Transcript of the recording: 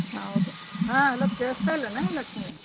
ಹೌದು ಹಾ hello ಕೇಳಸ್ತಾ ಇಲ್ಲನು ಲಕ್ಷ್ಮೀ?